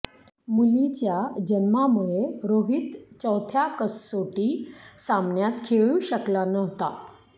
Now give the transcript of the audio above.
मुलीच्या जन्मामुळे रोहित चौथ्या कसोटी सामन्यात खेळू शकला नव्हता